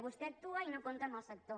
vostè actua i no compta amb el sector